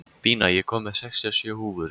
Bína, ég kom með sextíu og sjö húfur!